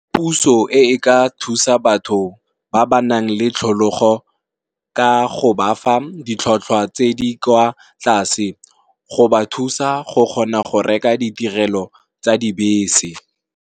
Puso e ka thusa batho ba ba nang le tlholego ka go bafa ditlhatlhwa tse di kwa tlase, go ba thusa go kgona go reka ditirelo tsa dibese.